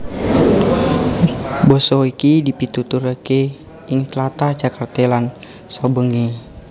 Basa iki dipituturaké ing tlatah Jakarta lan saubengé